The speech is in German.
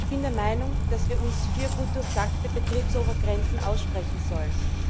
Ich bin der Meinung, dass wir uns für gut durchdachte Betriebsobergrenzen aussprechen sollen.